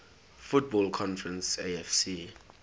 football conference afc